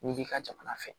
N'i b'i ka jamana fɛ